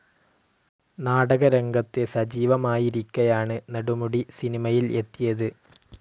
നാടകരംഗത്ത് സജീവമായിരിക്കെയാണ് നെടുമുടി സിനിമയിൽ എത്തിയത്.